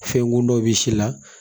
Fɛnkun dɔ bɛ si la